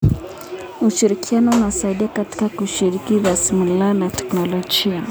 Ushirikiano unasaidia katika kushiriki rasilimali na teknolojia.